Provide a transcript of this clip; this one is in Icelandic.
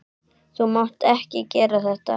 Þú mátt ekki gera þetta.